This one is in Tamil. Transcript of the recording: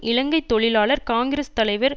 இலங்கை தொழிலாளர் காங்கிரஸ் தலைவர்